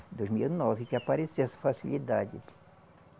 Dois mil e nove que apareceu essa facilidade.